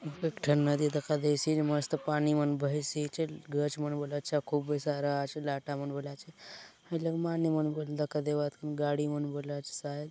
एक ठन नदी मन दखा देची प मस्त बहेसिचे खूब लाटा मन बल आचे गाड़ी मन बला आचे शायद --